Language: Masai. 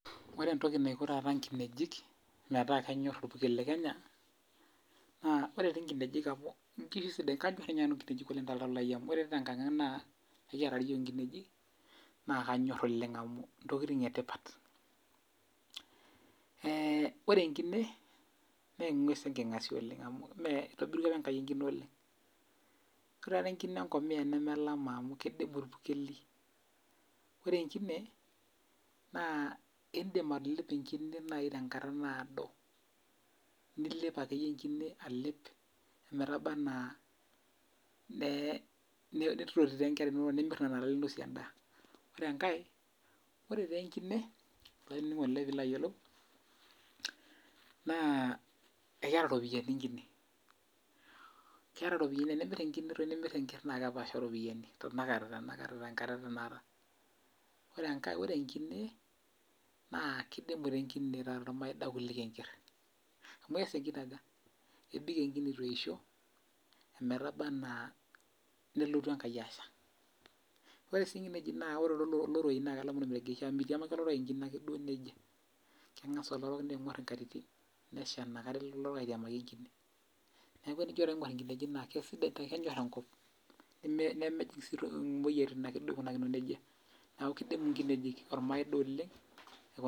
Ore entoki naiko taata nkinejik metaa kenyor orpukel le Kenya, naa ore ti nkinejik amu inkishu sidan kanyor inye nanu nkinejik oleng toltau lai amu ore te nkang' ang' naa, ekiata ti yiok inkinejik, naa kanyor oleng amu intokiting etipat. Ore enkine, neng'ues enking'asia oleng amu me itobirua apa Enkai enkine oleng. Kore tatoi enkine enkomia nemelama amu kidumu irpukeli. Ore enkine, naa idim atalepo enkine nai tenkata naado, nilep akeyie enkine alep metaba enaa nitoti ta nkera inonok, nimir nena ale ninosie endaa. Ore enkae, ore tenkine, olainining'oni lai pilo ayiolou, naa ekeeta ropiyiani enkine. Keeta ropiyiani tenimir enkine nimir enker nakepasha ropiyiani, tanakata tenkata etanakata. Ore enkae ore enkine, naa kidimu tenkine taata ormaida kuliko enker. Amu ees enkine aja, ebik enkine ituisho, emetaba enaa nelotu Enkai asha. Ore si nkinejik na ore loroi na kelama ormeregeshi amu mitiamaki loroi enkine ake duo nejia. Keng'asa oloro ning'or inkatitin, nesha nakata elo oloro aitiamaki enkine. Neeku enijo taa aing'or inkinejik naa kesidai kenyor enkop, nemejing' si toi moyiaritin akeduo aikunakino nejia. Neeku kidimu nkinejik ormaida oleng,